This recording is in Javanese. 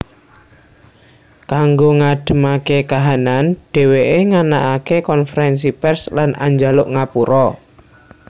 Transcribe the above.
Kanggo ngadhemaké kahanan dhèwèké nganakaké konfrènsi pèrs lan anjaluk ngapura